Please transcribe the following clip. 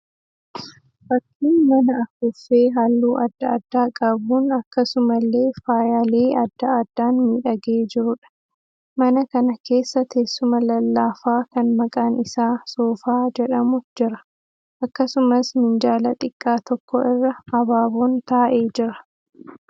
Fakkii mana afuuffee halluu adda addaa qabuun akkasumallee faayyaalee adda addaan miidhagee jiruudha. Mana kana keessa teessuma lallaafaa kan maqaan isaa 'Soofaa' jedhamu jira. Akkasumas minjaala xiqqaa tokko irra abaaboon taa'ee jira.